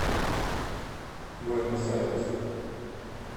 буэнос айрес